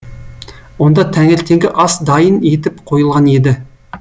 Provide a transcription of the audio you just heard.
онда таңертеңгі ас дайын етіп қойылған еді